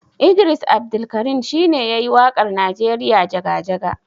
Idris Abdulkarin shine yayi waƙar Nigeria Jaga-jaga.